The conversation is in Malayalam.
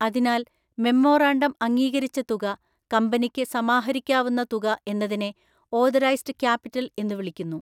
അതിനാൽ മെമ്മോറാണ്ടം അംഗീകരിച്ച തുക കമ്പനിക്ക് സമാഹരിക്കാവുന്ന തുക എന്നതിനെ ഓദറൈസ്ഡ് ക്യാപിറ്റൽ എന്നു വിളിക്കുന്നു.